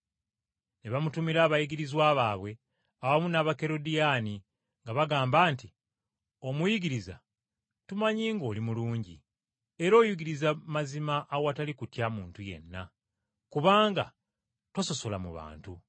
Ne bamutumira abayigirizwa baabwe awamu n’Abakerodiyaani nga bagamba nti, “Omuyigiriza, tumanyi ng’oli mulungi, era oyigiriza mazima awatali kutya muntu yenna, kubanga tososola mu bantu.